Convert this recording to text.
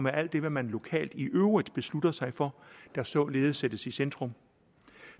alt det man lokalt i øvrigt beslutter sig for der således sættes i centrum